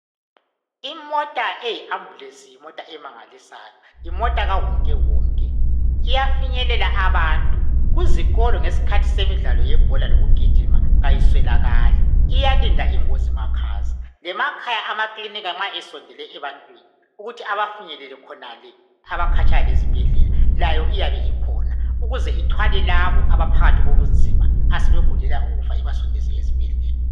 Imota eyiambulensi yimota emangalisayo yimota kawonkewonke iyafinyelela abantu kuzikolo ngesikhathi semidlalo yebhola lokugijima ayiswelakali iyalinda ingozi makhaza . Lemakhaya amakilinika nxa esondele ebantwini ukuthi abafinyelele khonale abakhatshana lezibhedlela layo iyabe ikhona ukuze ithwale labo asebephakathi kobunzima asebegulela ukufa ibasondeze ezibhedlela.